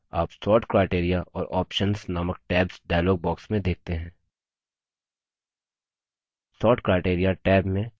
आप sort criteria और options नामक tabs dialog box में देखते हैं